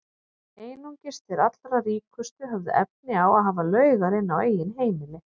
Einungis þeir allra ríkustu höfðu efni á að hafa laugar inni á eigin heimili.